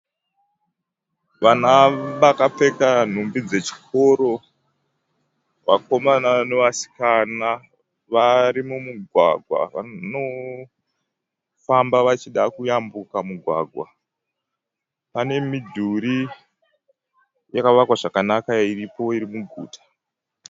Vana vakapfeka nhumbi dzechikoro. Vakomana nevasikana vari mumugwagwa vanofamba vachida kuyambuka mugwagwa. Pane midhuri yakavakwa zvakanaka iripo iri muguta.